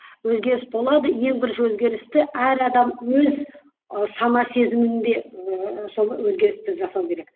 өзгеріс болады ең бірінші өзгерісті әр адам өз і сана сезімінде ііі сол өзгерісті жасау керек